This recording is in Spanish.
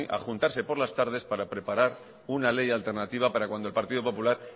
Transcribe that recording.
a juntarse por las tardes para preparar una ley alternativa para cuando el partido popular